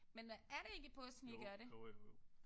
Men hvad er det ikke i påsken I gør det?